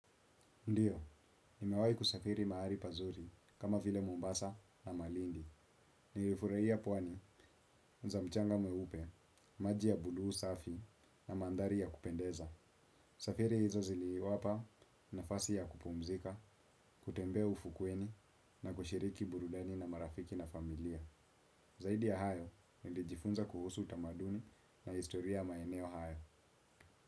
Ndiyo, nimewai kusafiri mahwri pazuri kama vile Mombasa na Malindi. Nilifurahia pwani za mchanga mweupe, maji ya buluu safi na mandhari ya kupendeza. Safiri hizo zili wapa na fasi ya kupumzika, kutembea ufukweni na kushiriki burudani na marafiki na familia. Zaidi ya hayo, nilijifunza kuhusu utamaduni na historia ya maeneo hayo.